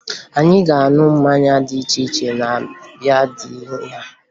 Anyị ga-aṅụ mmanya dị iche iche na be dị ya